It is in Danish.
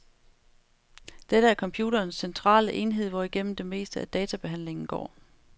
Dette er computerens centrale enhed, hvorigennem det meste af databehandlingen går.